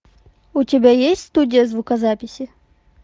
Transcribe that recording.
у тебя есть студия звукозаписи